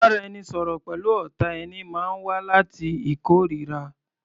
Ìbáraẹnisọ̀rọ̀ pẹ̀lú ọ̀tá ẹni máa wá láti ìkóríra.